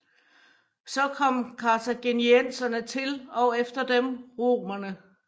Så kom karthagenienserne til og efter dem romerne